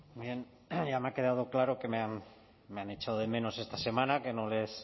bien ya me ha quedado claro que me han echado de menos esta semana